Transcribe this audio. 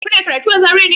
Kana karatu a Zaria ne?